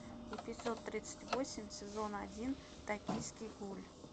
эпизод тридцать восемь сезон один токийский гуль